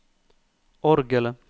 orgelet